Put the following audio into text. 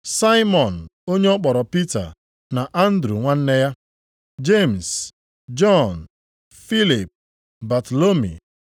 Saimọn (onye ọ kpọrọ Pita) na Andru nwanne ya, Jemis Jọn, Filip Batalomi.